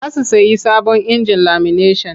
Za su sayi sabon injin lamineshan.